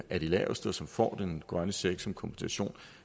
er de laveste og som får den grønne check som kompensation